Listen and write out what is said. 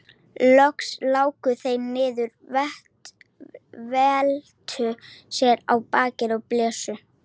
Loks láku þeir niður, veltu sér á bakið og blésu.